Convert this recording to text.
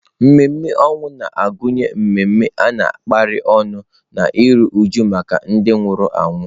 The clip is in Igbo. Ememe ọnwụ na-agụnye ememe a kapịrị ọnụ na iru újú maka ndị nwụrụ anwụ.